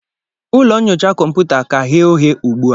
ụlọ nyocha kọmputa ka ghe oghe ugbua